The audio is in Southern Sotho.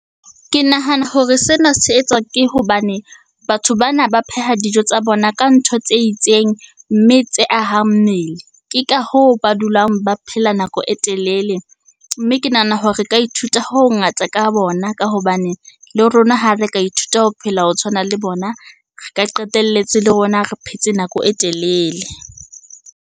Ke nahana hore sena se etswa ke hobane batho bana ba pheha dijo tsa bona ka ntho tse itseng, mme tse ahang mmele. Ke ka hoo ba dulang ba phela nako e telele. Mme ke nahana hore re ka ithuta ho hongata ka bona ka hobane le rona ha re ka ithuta ho phela ho tshwana le bona, re ka qetelletse le rona re phetse nako e telele.